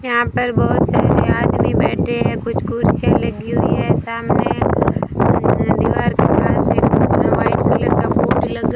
यहां पर बहुत सारे आदमी बैठे हैं कुछ कुर्सियां लगी हुई हैं सामने दीवार के पास एक वाइट कलर का बोर्ड लग --